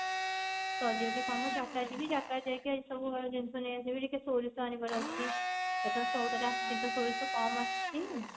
ସରିଗଲେ କାମ ଯାତ୍ରା ଯିବି ଯାତ୍ରା ଯାଇକି ଏସବୁ ଜିନିଷ ନେଇ ଆସିବି ଟିକେ ସୋରିଷ ଆଣିବାର ଅଛି ଏଥର ସଉଦା ରେ ଆସିନି ସୋରିଷ କମ ଆସିଛି